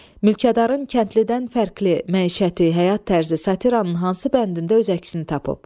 Mülkədarın kəndlidən fərqli məişəti, həyat tərzi satiranın hansı bəndində öz əksini tapıb?